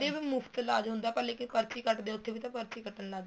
ਮੁਫ਼ਤ ਇਲਾਜ ਹੁੰਦਾ ਪਰ ਲੇਕਿਨ ਪਰਚੀ ਕੱਟਦੇ ਹੈ ਉੱਥੇ ਵੀ ਤਾਂ ਪਰਚੀ ਕੱਟਣ ਲੱਗ ਗਏ